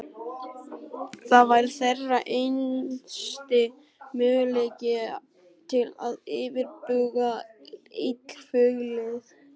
Það var þeirra einasti möguleiki til að yfirbuga illfyglið.